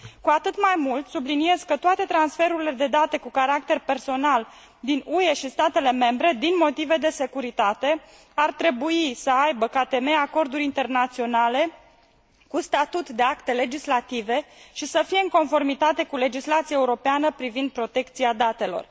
Cu atât mai mult, subliniez că toate transferurile de date cu caracter personal din UE și statele membre, din motive de securitate, ar trebui să aibă ca temei acorduri internaționale cu statut de acte legislative și să fie în conformitate cu legislația europeană privind protecția datelor.